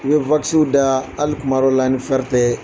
N bɛ wakisiw da hali kuma dƆ la ni fɛrɛ tƐ